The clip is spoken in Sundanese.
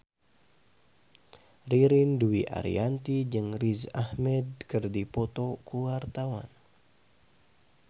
Ririn Dwi Ariyanti jeung Riz Ahmed keur dipoto ku wartawan